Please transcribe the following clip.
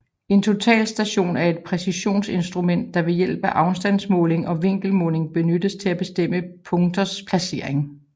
En totalstation er et præcisionsinstrument der ved hjælp af afstandsmåling og vinkelmåling benyttes til at bestemme punkters placering